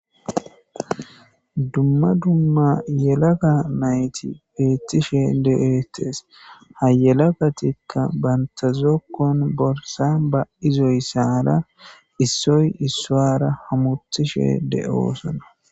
Dumma dumma yelaka mayti beettishe de7eetes hayelakatikka bantazokkon borsa ba izoysara issoy issoara hamutishe de7oosona.